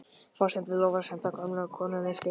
Forsetinn lofar að senda gömlu konunni skeyti.